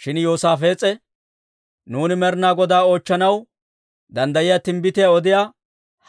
Shin Yoosaafees'e, «Nuuni Med'inaa Godaa oochchanaw danddayiyaa timbbitiyaa odiyaa